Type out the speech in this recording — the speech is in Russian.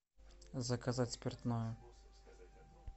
заказать спиртное